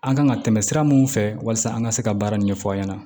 An kan ka tɛmɛ sira mun fɛ walasa an ka se ka baara nin ɲɛfɔ an ɲɛna